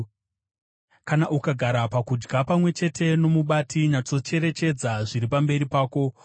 Kana ukagara pakudya pamwe chete nomubati, nyatsocherechedza zviri pamberi pako,